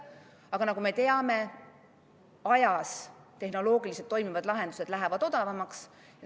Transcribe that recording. Aga nagu me teame, tehnoloogiliselt toimivad lahendused lähevad aja jooksul odavamaks.